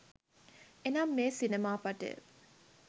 එනම් මේ සිනමා පටය